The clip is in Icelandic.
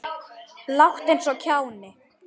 Láttu eins og kjáni.